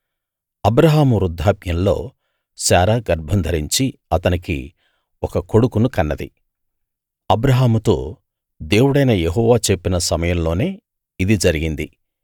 అబ్రాహాము వృద్ధాప్యంలో శారా గర్భం ధరించి అతనికి ఒక కొడుకును కన్నది అబ్రాహాముతో దేవుడైన యెహోవా చెప్పిన సమయంలోనే ఇది జరిగింది